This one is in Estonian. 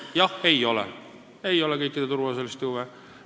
Jah, ei ole järgitud kõikide turuosaliste huve.